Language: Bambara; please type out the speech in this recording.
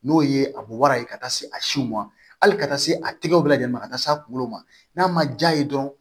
N'o ye a bɔ wara ye ka taa se a siw ma hali ka taa se a tigɛw bɛɛ lajɛlen ma ka taa se a kunkolo ma n'a ma ja ye dɔrɔn